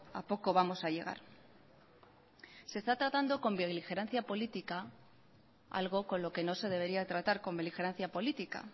a poco vamos a llegar se está tratando con beligerancia política algo con lo que no se debería tratar con beligerancia política